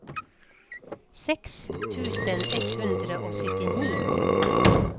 seks tusen ett hundre og syttini